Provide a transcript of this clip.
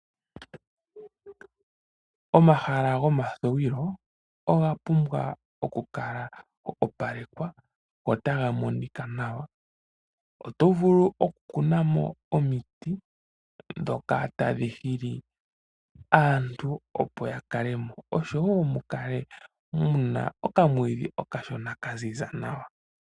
Omahala gomathuwilo oga pumbwa okukala ga opalekwa, go taga monika nawa. Oto vulu okukuna mo omiti, ndhoka tadhi hili aantu, opo ya kale mo, osho wo mu kale okamwiidhi okashona ka ziza nawa.